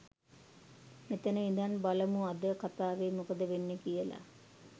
මෙතන ඉදන් බලමු අද කථාවේ මොකද වෙන්නේ කියලා.